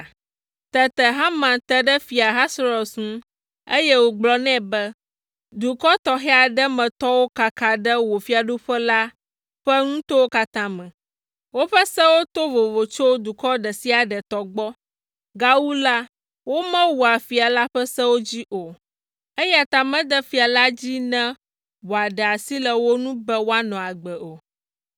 Tete Haman te ɖe Fia Ahasuerus ŋu, eye wògblɔ nɛ be, “Dukɔ tɔxɛ aɖe me tɔwo kaka ɖe wò fiaɖuƒe la ƒe nutowo katã me. Woƒe sewo to vovo tso dukɔ ɖe sia ɖe tɔ gbɔ. Gawu la, womewɔa fia la ƒe sewo dzi o, eya ta mede fia la dzi ne wòaɖe asi le wo ŋu be woanɔ agbe o.